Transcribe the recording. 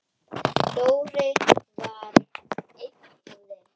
Dóri var einn af þeim.